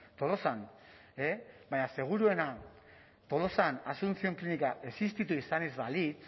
tolosan e baina seguruena tolosan asuncion klinika existitu izan ez balit